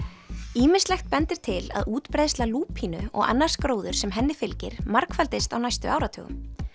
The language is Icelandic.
ýmislegt bendir til að útbreiðsla lúpínu og annars gróðurs sem henni fylgir margfaldist á næstu áratugum